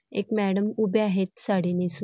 एक मॅडम उभ्या आहेत साडी नेसू --